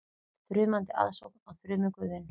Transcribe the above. Þrumandi aðsókn á þrumuguðinn